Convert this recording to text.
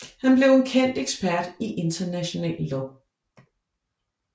Han blev en kendt ekspert i international lov